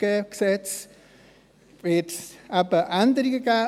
Dann wird es eben Änderungen geben.